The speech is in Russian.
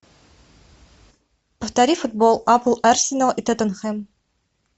повтори футбол апл арсенал и тоттенхэм